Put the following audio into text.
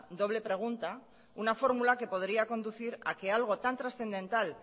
doble pregunta una fórmula que podría conducir a que algo tan transcendental